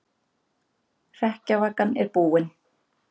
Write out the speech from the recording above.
Hrekkjavakan er búin